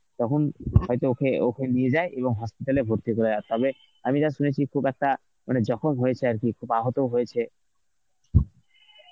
তখন হয়তো ওকে, ওকে নিয়ে যায় এবং hospital এ ভর্তি করায় আর তবে আমি যা শুনেছি খুব একটা মানে যখন হয়েছে আর কি খুব আহত হয়েছে